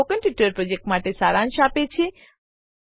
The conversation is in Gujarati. તે સ્પોકન ટ્યુટોરીયલ પ્રોજેક્ટનો સારાંશ આપે છે